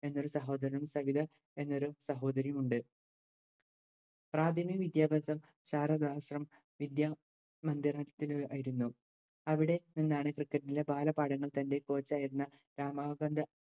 എന്നൊരു സഹോദരനും സവിത എന്നൊരു സഹോദരിയും ഉണ്ട് പ്രാഥമിക വിദ്യാഭ്യാസം ശാരദാശ്രമം വിദ്യമന്ദിരത്തിൽ ആയിരുന്നു അവിടെ നിന്നായിരുന്നു cricket ൻറെ ബാല പാഠങ്ങൾ തൻറെ coach ആയിരുന്ന രമാകാന്ത